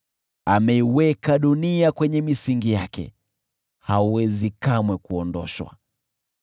Ameiweka dunia kwenye misingi yake, haiwezi kamwe kuondoshwa.